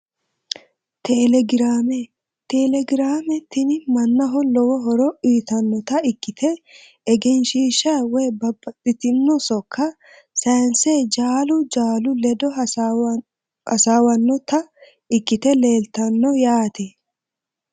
Telegraame telegrame tini manaho lowo horo uyitanota ikite egenshiisha woyi babaxitino sokko sansani jaalu jaalu ledo hasaawanota ikite leelyano yaate.